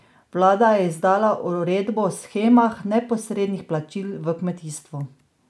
Vlada je izdala uredbo o shemah neposrednih plačil v kmetijstvu.